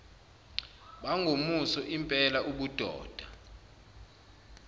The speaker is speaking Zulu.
bangomuso lmpela ubudoda